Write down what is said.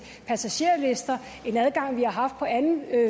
passagerlister en adgang vi har haft på anden